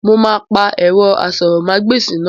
Mo máa pa ẹ̀rọ asọ̀rọ̀mágbèsì náà